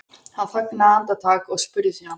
Hann þagnaði andartak en spurði síðan